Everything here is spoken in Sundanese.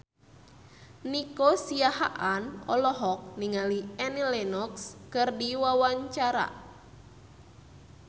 Nico Siahaan olohok ningali Annie Lenox keur diwawancara